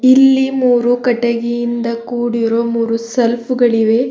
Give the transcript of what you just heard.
ಇಲ್ಲಿ ಮೂರು ಕಟ್ಟಗಿಯಿಂದ ಕೂಡಿರುವ ಮೂರು ಸೆಲ್ಪು ಗಳಿವೆ.